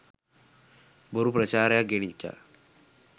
බොරු ප්‍රචාරයක් ගෙනිච්චා.